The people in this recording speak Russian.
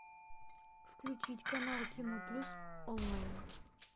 включить канал кино плюс онлайн